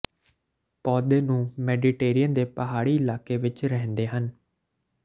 ਪੌਦੇ ਨੂੰ ਮੈਡੀਟੇਰੀਅਨ ਦੇ ਪਹਾੜੀ ਇਲਾਕੇ ਵਿਚ ਰਹਿੰਦੇ ਹਨ